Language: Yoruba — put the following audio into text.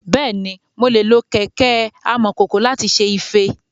Bẹ́ẹ̀ni, mo lè lo kẹ̀kẹ́ amọ̀kòkò láti ṣe ife.